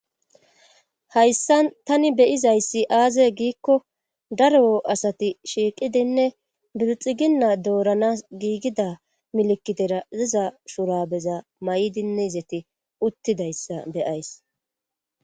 Hayssa tani beyizayssi aaze giikko dar asati shiiqidinne bilxiginna doorana giigida milikidera ziza shurabeza may7idinne izeti uttidayssa beyays.